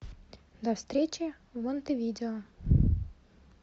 до встречи в монтевидео